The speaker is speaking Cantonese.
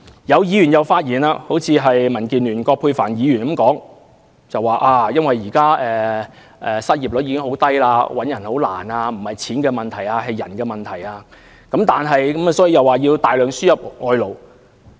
又有議員發言，正如民建聯葛珮帆議員說，由於現時失業率十分低，很難聘請員工，認為不是錢的問題，而是人的問題，所以要大量輸入外勞。